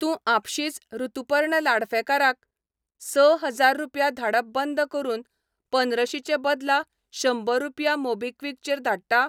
तूं आपशींच ऋतुपर्ण लाडफेकार क स हजार रुपया धाडप बंद करून पंद्रशी चे बदला शंबर रुपया मोबीक्विक चेर धाडटा?